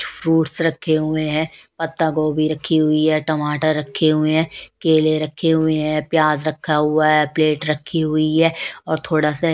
fruits रखे हुए हैं पत्ता गोभी रखी हुई है टमाटर रखे हुए हैं केले रखे हुए हैं प्याज रखा हुआ है प्लेट रखी हुई है और थोड़ा सा--